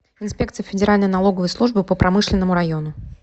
инспекция федеральной налоговой службы по промышленному району